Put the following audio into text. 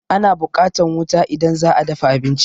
Ana buƙatan wuta idan za'a dafa abinci